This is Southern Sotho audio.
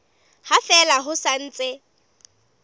ha fela ho sa ntse